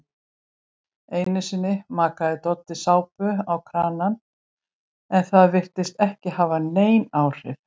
Einusinni makaði Doddi sápu á kranann en það virtist ekki hafa nein áhrif.